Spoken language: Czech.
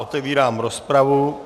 Otevírám rozpravu.